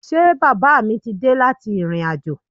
Ṣé bàbá mí ti dé láti ìrìnàjò?